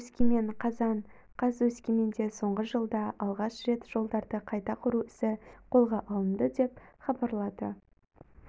өскемен қазан қаз өскеменде соңғы жылда алғаш рет жолдарды қайта құру ісі қолға алынды деп хабарлады